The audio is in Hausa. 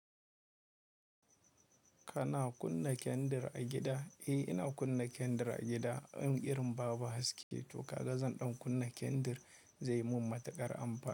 Kana kunna kendir a gida? Eh, ina kunna kendir a gida. In irin babu haske to kaga zan ɗan kunna kendir zai mun matukar amfani.